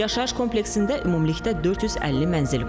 Yaşayış kompleksində ümumilikdə 450 mənzil var.